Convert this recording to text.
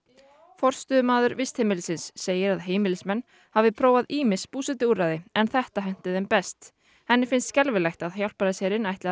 forstöðumaður vistheimilisins segir að heimilismenn hafi prófað ýmis búsetuúrræði en þetta henti þeim best henni finnst skelfilegt að Hjálpræðisherinn ætli að